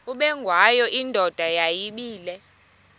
ubengwayo indoda yayibile